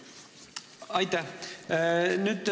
Aitäh!